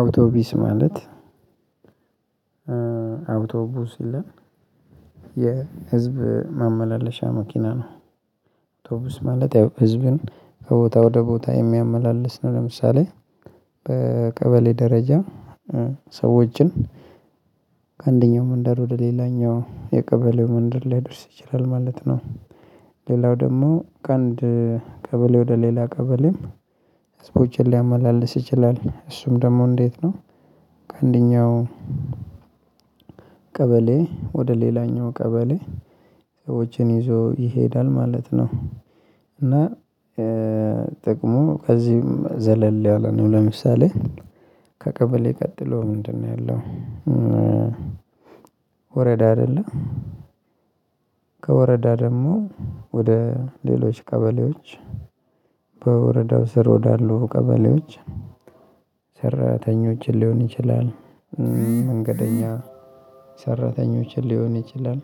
አውቶቢስ ማለት አውቶቢስ የህዝብ ማመላለሻ መኪና ነው። አውቶቢስ ማለት ያው ህዝብን ከቦታ ወደ ቦታ የሚያመላልስ ነው። ለምሳሌ በቀበሌ ደረጃ ሰዎችን ከአንደኛው መንደር ወደ ሌላኛው የቀበሌው መንደር ሊያደርስ ይችላል ማለት ነው። ሌላው ደግሞ ካንድ ቀበሌ ወደ ሌላ ቀበሌም ህዝቦችን ሊያመላልስ ይችላል። እሱም ደግሞ እንዴት ነው ከአንደኛው ቀበሌ ወደ ሌላኛው ቀበሌ ሰዎችን ይዞ ይሄዳል ማለት ነው። እና ጥቅሙ ከዚህም ዘለል ያለ ነው። ለምሳሌ ከቀበሌ ቀጥሎ ምንድነው ያለው ወረዳ አይደለ? ከወረዳ ደግሞ ወደ ሌሎች ቀበሌዎች፤ በወረዳው ስር ወዳሉ ቀበሌዎች ሰራተኞችን ሊሆን ይችላል፤ መንገደኛ ሰራተኞችን ሊሆን ይችላል፤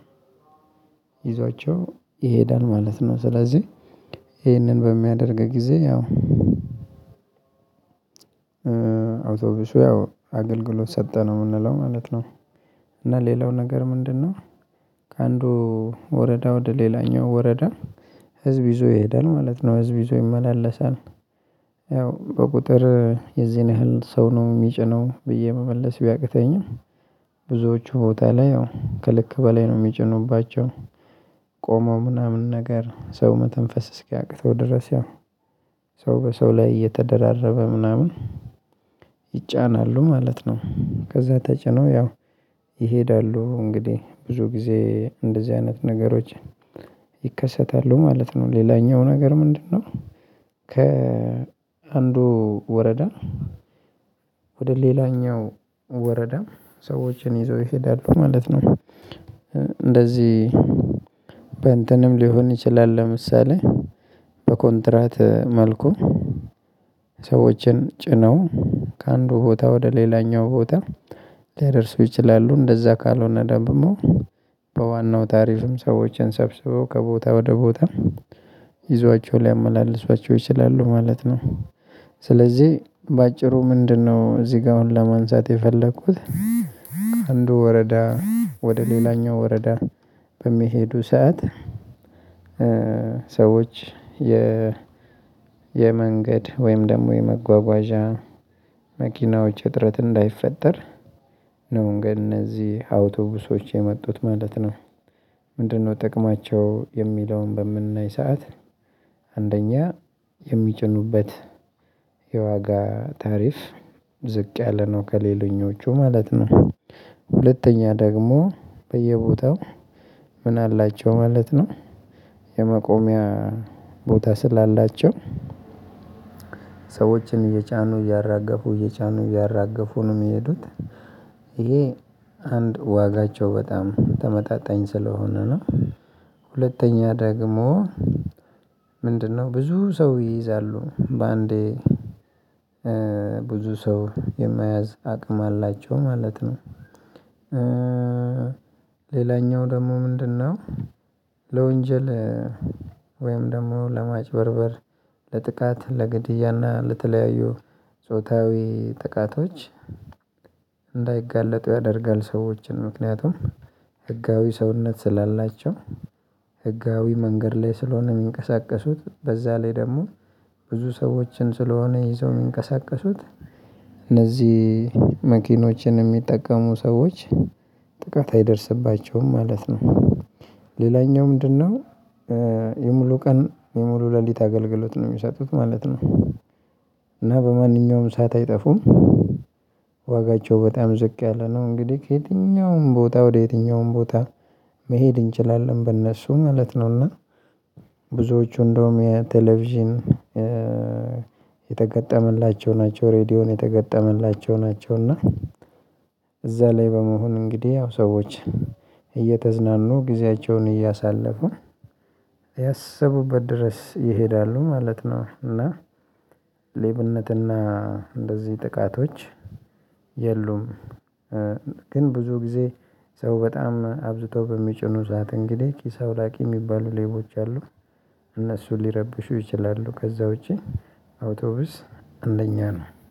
ይዟቸው ይሄዳል ማለት ነው። ስለዚህ ይሄንን በሚያደርግ ጊዜ ያው አውቶቢሱ ያው አገልግሎት ሰጠ ነው የምንለው ማለት ነው። እና ሌላው ነገር ምንድነው ከአንዱ ወረዳ ወደ ሌላኛው ወረዳ ህዝብ ይዞ ይሄዳል ማለት ነው። ህዝብ ይዞ ይመላለሳል። ያው በቁጥር የዚህን ያህል ሰው ነው የሚጭነው ብዬ መመለስ ቢያቅተኝም፤ ብዙዎቹ ቦታ ላይ ያው ከልክ በላይ ነው የሚጭኑባቸው። ቆመው ምናምን ነገር፤ ሰው መተንፈስ እስኪያቅተው ድረስ፤ ያው ሰው በሰው ላይ እየተደራረበ ምናምን ይጫናሉ ማለት ነው። ከዛ ተጭነው ያው ይሄዳሉ። እንግዲህ ብዙ ጊዜ እንደዚህ አይነት ነገሮችን ይከሰታሉ ማለት ነው። ሌላኛው ነገር ምንድነው ከ አንዱ ወረዳ ወደ ሌላኛው ወረዳ ሰዎችን ይዘው ይሄዳሉ ማለት ነው። እንደዚህ በእንትንም ሊሆን ይችላል። ለምሳሌ በኮንትራት መልኩ ሰዎችን ጭነው ከአንዱ ቦታ ወደ ሌላኛው ቦታ ሊያደርሱ ይችላሉ። እንደዛ ካልሆነ ደግሞ በዋናው ታሪፍም ሰዎችን ሰብስበው ከቦታ ወደ ቦታ ይዘዋቸው ሊያመላልሷቸው ይችላሉ ማለት ነው። ስለዚህ በአጭሩ ምንድነው እዚህ ጋር አሁን ለማንሳት የፈለኩት፤ ከአንዱ ወረዳ ወደ ሌላኛው ወረዳ በሚሄዱ ሰዓት፤ ሰዎች የ የመንገድ ወይም ደግሞ የመጓጓዣ መኪናዎች እጥረት እንዳይፈጠር ነው እንግዲህ እነዚህ አውቶቡሶች የመጡት ማለት ነው። ምንድነው ጥቅማቸው የሚለውን በምናይ ሰዓት፤ አንደኛ የሚጭኑበት የዋጋ ታሪፍ ዝቅ ያለ ነው ከሌለኞቹ ማለት ነው። ሁለተኛ ደግሞ በየቦታው ምን አላቸው ማለት ነው የመቆሚያ ቦታ ስላላቸው ሰዎችን እየጫኑ እያራገፉ እየጫኑ እያራገፉ ነው የሚሄዱት። ይሄ አንድ ዋጋቸው በጣም ተመጣጣኝ ስለሆነ ነው። ሁለተኛ ደግሞ ምንድነው ብዙ ሰው ይይዛሉ በአንዴ። ብዙ ሰው የመያዝ አቅም አላቸው ማለት ነው። ሌላኛው ደግሞ ምንድነው ለወንጀል፣ ወይም ደግሞ ለማጭበርበር፣ ለጥቃት፣ ለግድያና ለተለያዩ ጾታዊ ጥቃቶች እንዳይጋለጡ ያደርጋል ሰዎችን። ምክንያቱም ህጋዊ ሰውነት ስላላቸው ህጋዊ መንገድ ላይ ስለሆነ የሚንቀሳቀሱት፤ በዛ ላይ ደግሞ ብዙ ሰዎችን ስለሆነ ይዘው የሚንቀሳቀሱት፤ እነዚህ መኪኖችን የሚጠቀሙ ሰዎች ጥቃት አይደርስባቸውም ማለት ነው። ሌላኛው ምንድነው የሙሉ ቀን የሙሉ ሌሊት አገልግሎት ነው የሚሰጡት ማለት ነው። እና በማንኛውም ሰዓት አይጠፉም። ዋጋቸው በጣም ዝቅ ያለ ነው። እንግዲህ ከየትኛውም ቦታ ወደ የትኛውም ቦታ መሄድ እንችላለን በእነሱ ማለት ነው። እና ብዙዎቹ እንደውም የቴሌቪዥን የተገጠመላቸው ናቸው ሬድዮን የተገጠመላቸው ናቸውና እዛ ላይ በመሆን እንግዲህ ያው ሰዎች እየተዝናኑ ጊዜያቸውን እያሳለፉ ያሰቡበት ድረስ ይሄዳሉ ማለት ነው። እና ሌብነትና እንደዚህ ጥቃቶች የሉም። ግን ብዙ ጊዜ ሰው በጣም አብዝተው በሚጭኑ ሰዓት እንግዲህ ኪስ አውላቂ የሚባሉ ሌቦች አሉ። ሊረብሹ ይችላሉ ከዛ ውጪ አውቶቡስ አንደኛ ነው።